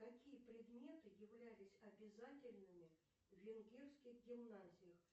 какие предметы являлись обязательными в венгерских гимназиях